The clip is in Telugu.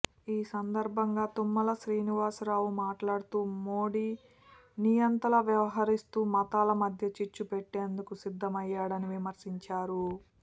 ఈ సందర ్భంగా తుమ్మల శ్రీనివాసరావు మాట్లాడుతూ మోడీ నియంతలా వ్యవహరిస్తూ మతాల మధ్య చిచ్చు పెట్టేందుకు సిద్ధమయ్యాడని విమర్శించారు